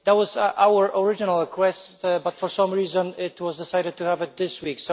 That was our original request, but for some reason it was decided to have it this week.